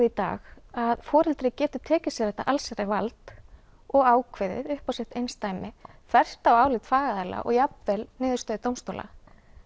í dag að foreldri getur tekið sér þetta allsherjarvald og ákveðið upp á sitt einsdæmi þvert á álit fagaðila og jafnvel niðurstöðu dómstóla